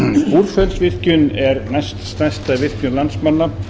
búrfellsvirkjun er næststærsta virkjun landsmanna